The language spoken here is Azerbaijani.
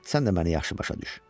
Sən də məni yaxşı başa düş.